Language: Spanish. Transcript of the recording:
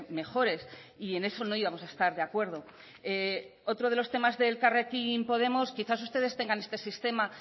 mejores y en eso no íbamos a estar de acuerdo otro de los temas del elkarrekin podemos quizás ustedes tengan este sistema